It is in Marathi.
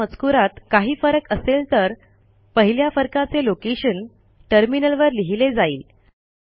जर त्या मजकूरात काही फरक असेल तर पहिल्या फरकाचे लोकेशन टर्मिनलवर लिहिले जाईल